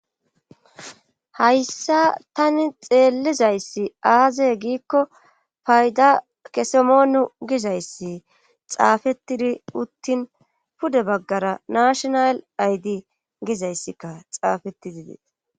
hayssa tani xeellizayssi aazey giikko fayda kesemoonu gizayssi xaafetidi uttin pude baggara nashonal aydi gizayssikka xaafetizi dees